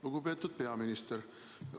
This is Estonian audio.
Lugupeetud peaminister!